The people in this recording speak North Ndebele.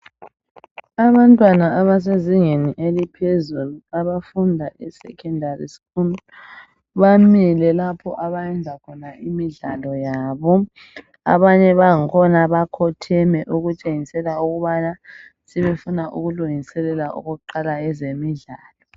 Abantwana abasezingeni eliphezulu abafunda esecondary school bamile lapho abayenza khona imidlalo yabo. Abanye bakhona bakhotheme okutshengisela ukubana sebefuna ukuqala ezemidlalo.